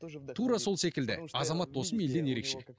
тура сол секілді азамат осымен елден ерекше